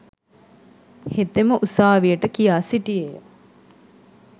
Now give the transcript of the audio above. හෙතෙම උසාවියට කියා සිටියේය.